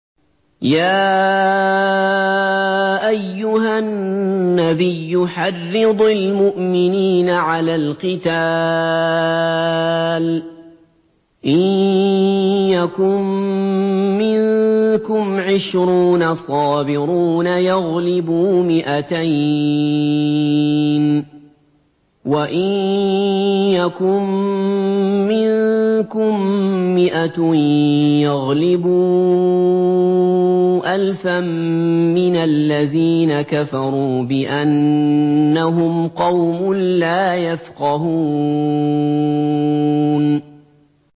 يَا أَيُّهَا النَّبِيُّ حَرِّضِ الْمُؤْمِنِينَ عَلَى الْقِتَالِ ۚ إِن يَكُن مِّنكُمْ عِشْرُونَ صَابِرُونَ يَغْلِبُوا مِائَتَيْنِ ۚ وَإِن يَكُن مِّنكُم مِّائَةٌ يَغْلِبُوا أَلْفًا مِّنَ الَّذِينَ كَفَرُوا بِأَنَّهُمْ قَوْمٌ لَّا يَفْقَهُونَ